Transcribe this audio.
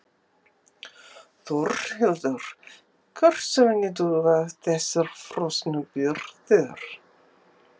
Þórhildur: Hversu lengi duga þessar frosnu birgðir?